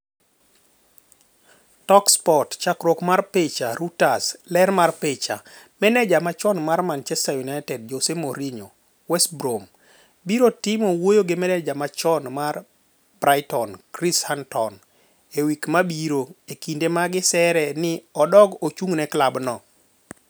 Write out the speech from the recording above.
(Talksport) Chakruok mar picha, Reuters. Ler mar picha, Maneja machon mar Manchester United ,Jose Mourinho West Brom biro timo wuoyo gi maneja machon mar Brighton Chris Hughton e wik babiro e kinde magi sere nini odogi ochung'neklab no.